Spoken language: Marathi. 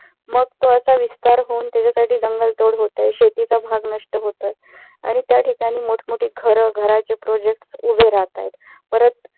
मग तो असा विस्तार होवून त्याच्यासाठी जंगल तोड होत आहे. शेतीचा भाग नष्ट होत आहे आणि त्याठिकाणी मोठमोठी घरं घराचे project उभे राहत आहेत. परत